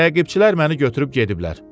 Təqibçilər məni götürüb gediblər.